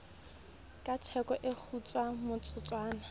ka theko o kgutsa motsotswana